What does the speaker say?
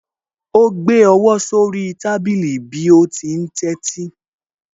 Ó gbé ọwọ́ sí orí tábìlì bí ó ti ń tẹ́tí